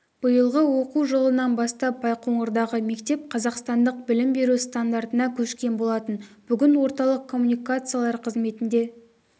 биылғы оқу жылынан бастап байқоңырдағы мектеп қазақстандық білім беру стандартына көшкен болатын бүгін орталық коммуникациялар қызметінде